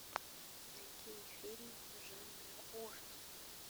найди фильм жанра ужас